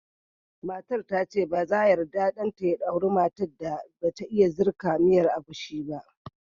Matar ta ce ba za yarda ɗan ta ya aura matar da ba ta iya jirka miyar agushi ba